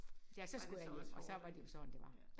Ja så skulle jeg hjem og så var det jo sådan det var